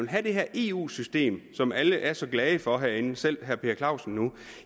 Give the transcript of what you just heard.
have det her eu system som alle er så glade for herinde selv herre per clausen nu